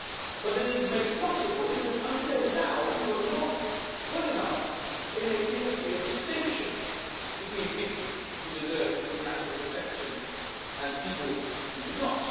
but it is made possible because, until now, we have not been good enough at making a clear distinction between people who deserve international protection and people who do not.